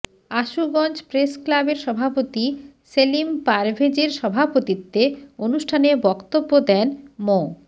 আশুগঞ্জ প্রেসক্লাবের সভাপতি সেলিম পারভেজের সভাপতিত্বে অনুষ্ঠানে বক্তব্য দেন মো